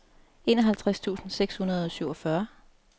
enoghalvtreds tusind seks hundrede og syvogfyrre